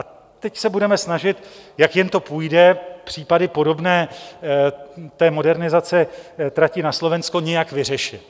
A teď se budeme snažit, jak jen to půjde, případy podobné té modernizaci trati na Slovensko nějak vyřešit.